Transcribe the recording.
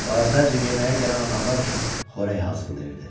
O əvvəlcə yeməyə gələn adamlar üçün xörək hazırlayırdı.